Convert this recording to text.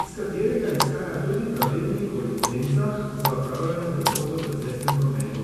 iz katerega izhaja tudi pravilnik o licencah za opravljanje prevozov v cestnem prometu.